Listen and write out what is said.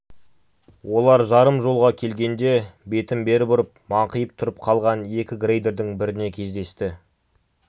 олар жарым жолға келгенде бетін бері бұрып маңқиып тұрып қалған екі грейдердің біріне кездесті